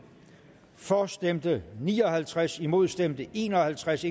for stemte ni og halvtreds imod stemte en og halvtreds